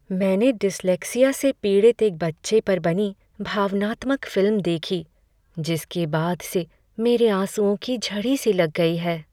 मैंने डिस्लेक्सिया से पीड़ित एक बच्चे पर बनी भावनात्मक फिल्म देखी जिसके बाद से मेरे आँसुओं की झड़ी सी लग गई है।